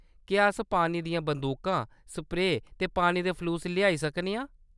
क्या अस पानी दियां बंदूकां, स्प्रेऽ ते पानी दे फलूस लेआई सकने आं ?